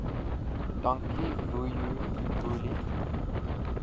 dankie vuyo mbuli